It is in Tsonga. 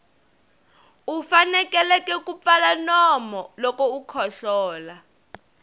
u fanekele ku pfala nomu loko u kohlola